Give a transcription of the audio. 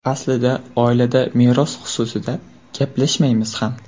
Aslida oilada meros xususida gaplashmaymiz ham.